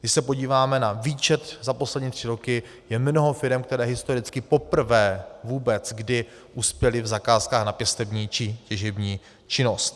Když se podíváme na výčet za poslední tři roky, je mnoho firem, které historicky poprvé vůbec kdy uspěly v zakázkách na pěstební či těžební činnosti.